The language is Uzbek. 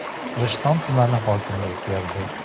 Rishton tumani hokimi o‘zgardi.